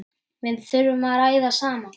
Við þurfum að ræða saman.